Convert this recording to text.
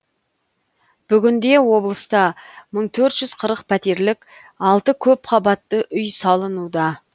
бүгінде облыста мың төрт жүз қырық пәтерлік алты көпқабатты үй салынуда